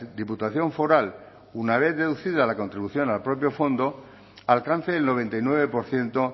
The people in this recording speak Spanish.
diputación foral una vez deducida la contribución al propio fondo alcance el noventa y nueve por ciento